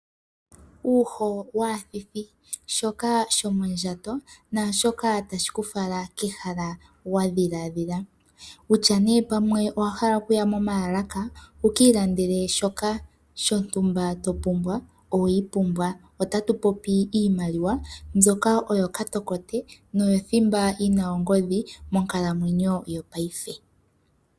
Uuho waathithi, shoka shomondjato naashoka tashi ku fala kehala wa dhila dhila kutya nduno pamwe owa hala okuya momaalaka wu ka ilandele shoka shontumba to pumbwa oweyi pumbwa. Otatu popi iimaliwa mbyoka oyo katokote noyo thimba yi na ongodhi monkalamwenyo yopaife.